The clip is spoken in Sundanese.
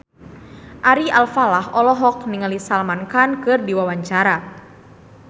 Ari Alfalah olohok ningali Salman Khan keur diwawancara